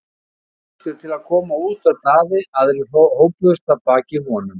Fyrstur til að koma út var Daði, aðrir hópuðust að baki honum.